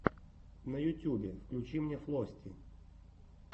на ютьюбе включи мне флости